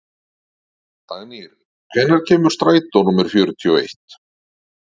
Dagnýr, hvenær kemur strætó númer fjörutíu og eitt?